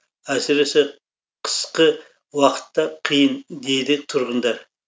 әсіресе қысқы уақытта қиын дейді тұрғындар